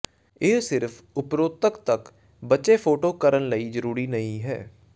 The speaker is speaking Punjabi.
ਇਹ ਸਿਰਫ ਉਪਰੋਕਤ ਤੱਕ ਬੱਚੇ ਫ਼ੋਟੋ ਕਰਨ ਲਈ ਜ਼ਰੂਰੀ ਨਹੀ ਹੈ